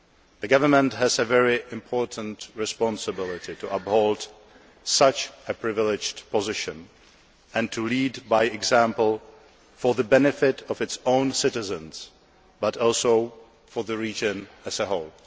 The government has a very important responsibility to uphold such a privileged position and to lead by example for the benefit of its own citizens, but also for the region as a whole.